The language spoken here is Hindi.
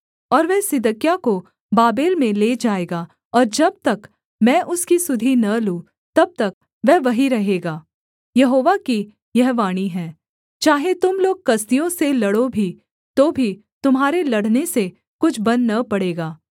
और वह सिदकिय्याह को बाबेल में ले जाएगा और जब तक मैं उसकी सुधि न लूँ तब तक वह वहीं रहेगा यहोवा की यह वाणी है चाहे तुम लोग कसदियों से लड़ो भी तो भी तुम्हारे लड़ने से कुछ बन न पड़ेगा